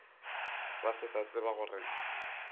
ba se sa tseba gore